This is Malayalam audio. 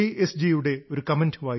ജി യുടെ ഒരു കമന്റ് വായിച്ചു